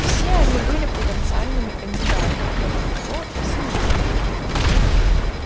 все они были потенциальными кандидатами но вот кто из них